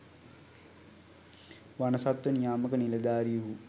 වනසත්ව නියාමක නිලධාරීහු